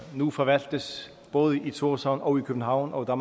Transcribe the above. nu forvaltes i både thorshavn og i københavn og